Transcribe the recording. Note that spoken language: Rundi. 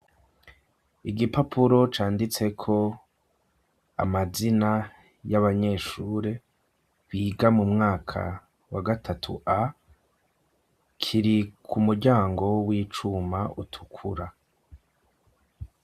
Igipapuro canditseko amazina y'abanyeshure biga mu mwaka wa gatatu a, kiri ku muryango w'icuma utukura.